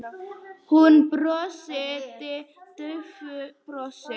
Hún brosti daufu brosi.